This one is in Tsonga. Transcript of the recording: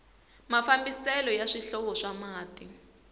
mafambiselo ya swihlovo swa mati